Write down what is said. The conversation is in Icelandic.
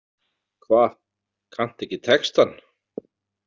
Hva, kanntu ekki textann?